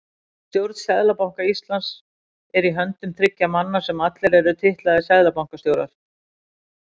Stjórn Seðlabanka Íslands er í höndum þriggja manna sem allir eru titlaðir seðlabankastjórar.